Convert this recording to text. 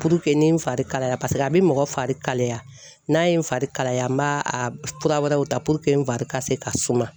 Puruke nin fari kalaya paseke a bɛ mɔgɔ fari kalaya, n'a ye n fari kalaya n b'a fura wɛrɛw ta puruke n fari ka se ka sumanya.